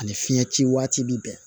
Ani fiɲɛ ci waati bi bɛn